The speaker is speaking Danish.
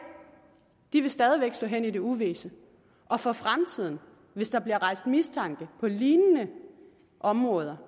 de sager vil stadig væk stå hen i det uvisse og for fremtiden hvis der bliver rejst mistanke på lignende områder